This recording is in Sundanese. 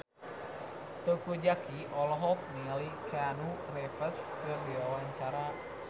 Teuku Zacky olohok ningali Keanu Reeves keur diwawancara